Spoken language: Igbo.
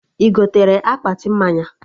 Ị gotere akpati mmanya?